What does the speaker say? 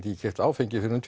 ekki keypt áfengi fyrr en